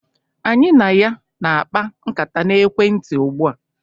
Anyị na ya na-akpa nkata na ekwentị ugbu a.